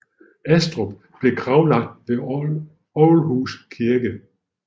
Astrup blev gravlagt ved Ålhus Kirke